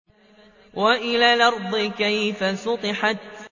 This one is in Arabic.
وَإِلَى الْأَرْضِ كَيْفَ سُطِحَتْ